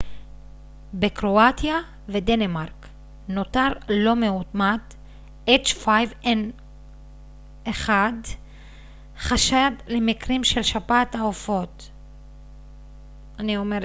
חשד למקרים של שפעת העופות h5n1 בקרואטיה ודנמרק נותר לא מאומת